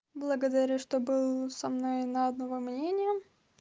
благодарю что был со мной на одного мнения